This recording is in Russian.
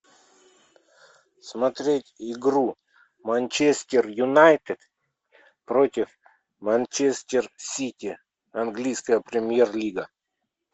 смотреть игру манчестер юнайтед против манчестер сити английская премьер лига